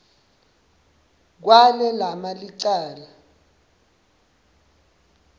kwale lama licala